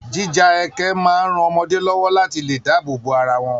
Jíja ẹkẹ máa ń ran ọmọdé lọ́wọ́ láti lè dáàbò bo ara wọn